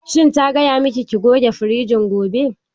Shin ta gaya miki ki goge firijin gobe?